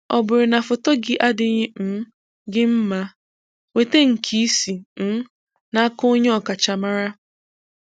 Ọ bụrụ na foto gị adịghị um gị mma, nweta nke si um n'aka onye ọkachamara.